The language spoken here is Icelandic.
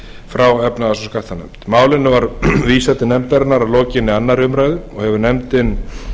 frá efnahags og skattanefnd málinu var vísað til nefndarinnar að lokinni annarri umræðu og hefur nefndin